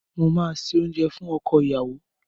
Mò máa se oúnjẹ fún ọkọ ìyàwó.